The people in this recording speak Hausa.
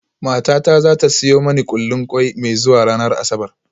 Matata za ta siyo mani kullin kwai mai zuwa ranar Asabar